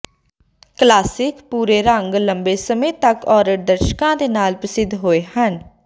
classic ਭੂਰੇ ਰੰਗ ਲੰਬੇ ਸਮੇਂ ਤਕ ਔਰਤ ਦਰਸ਼ਕਾਂ ਦੇ ਨਾਲ ਪ੍ਰਸਿੱਧ ਹੋਏ ਹਨ